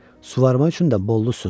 Suvarmaq üçün də bollu su.